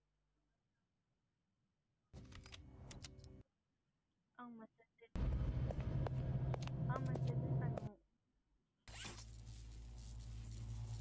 cement மணல் செங்கல் இதுல அனுப்புவீங்க இல்ல sell பண்ணுவீங்க இல்ல அதுக்குள்ள நீங்க bill அடிப்பீங்க இல்ல ஆமா bill அடிப்போம் bill கொடுப்பீங்களா